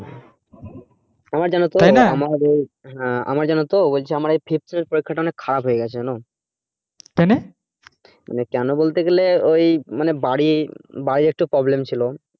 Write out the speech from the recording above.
হ্যাঁ আমার জানো তো আমার ওই fifth sem এর পরীক্ষাটা অনেক খারাপ হয়ে গেছে জানো কেন বলতে গেলে ঐ মানে বাড়ি বাড়ির একটু problem ছিল